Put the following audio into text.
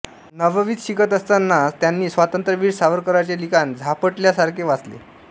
नववीत शिकत असताना असताना त्यांनी स्वातंत्र्यवीर सावरकरांचे लिखाण झापटल्यासारखे वाचले